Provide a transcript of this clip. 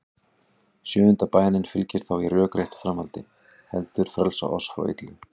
Sjöunda bænin fylgir þá í rökréttu framhaldi: Heldur frelsa oss frá illu.